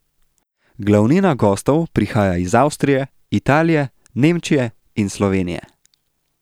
Glavnina gostov prihaja iz Avstrije, Italije, Nemčije in Slovenije.